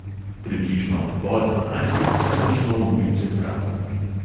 Približno ob pol dvanajstih se začno ulice prazniti.